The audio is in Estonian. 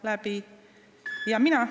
Palun lisaaega!